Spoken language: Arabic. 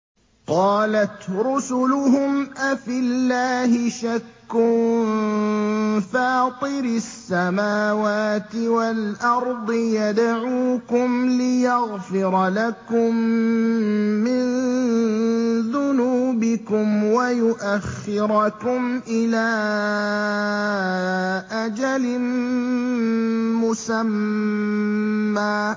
۞ قَالَتْ رُسُلُهُمْ أَفِي اللَّهِ شَكٌّ فَاطِرِ السَّمَاوَاتِ وَالْأَرْضِ ۖ يَدْعُوكُمْ لِيَغْفِرَ لَكُم مِّن ذُنُوبِكُمْ وَيُؤَخِّرَكُمْ إِلَىٰ أَجَلٍ مُّسَمًّى ۚ